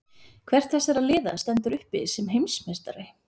Hvert þessara liða stendur uppi sem heimsmeistari?